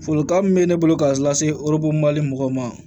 Folikan min bɛ ne bolo ka lase mali mɔgɔw ma